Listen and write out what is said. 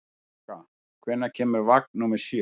Skugga, hvenær kemur vagn númer sjö?